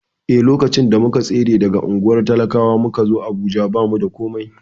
Eh, lokacin da muka tsere daga unguwar talakwa muka zo Abuja, ba mu da komai.